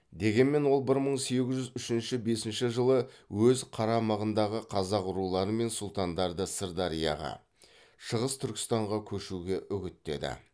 дегенмен ол бір мың сегіз жүз үшінші бесінші жылы өз қарамағындағы қазақ рулары мен сұлтандарды сырдарияға шығыс түркістанға көшуге үгіттеді